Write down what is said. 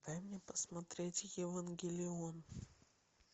дай мне посмотреть евангелион